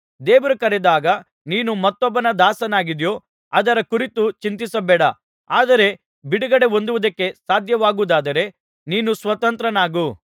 ದೇವರು ಕರೆದಾಗ ನೀನು ಮತ್ತೊಬ್ಬನ ದಾಸನಾಗಿದ್ದೀಯೋ ಅದರ ಕುರಿತು ಚಿಂತಿಸಬೇಡ ಆದರೆ ಬಿಡುಗಡೆ ಹೊಂದುವುದಕ್ಕೆ ಸಾಧ್ಯವಾಗುವುದಾದರೆ ನೀನು ಸ್ವತಂತ್ರನಾಗು